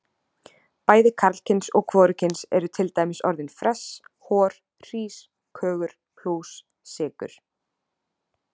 Bæði karlkyns og hvorugkyns eru til dæmis orðin fress, hor, hrís, kögur, plús, sykur.